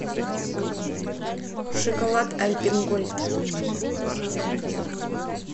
шоколад альпен гольд